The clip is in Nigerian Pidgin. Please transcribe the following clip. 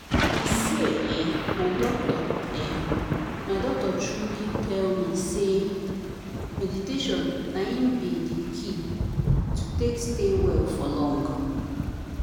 i say eeh my doctor eeh my doctor truely tell me say meditation na in be the key to take stay well for long.